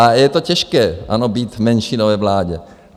A je to těžké být v menšinové vládě.